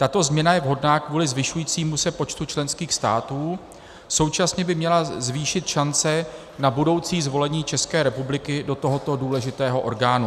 Tato změna je vhodná kvůli zvyšujícímu se počtu členských států, současně by měla zvýšit šance na budoucí zvolení České republiky do tohoto důležitého orgánu.